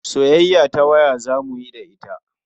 Soyayya ta waya za mu yi da ita.